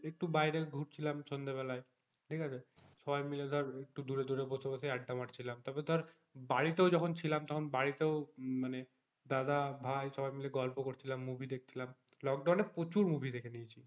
একটু বাইরে ঘুরছিলাম সন্ধ্যে বেলায় ঠিক আছে সবাই মিলে ধর একটু দূরে দূরে বসে বসে আড্ডা মারছিলাম তবে ধর বাড়িতেও যখন ছিলাম তখন বাড়িতেও মানে দাদা ভাই সবাই মিলে গল্প করছিলাম movie দেখছিলাম লোকডাউনে প্রচুর movie দেখেছি,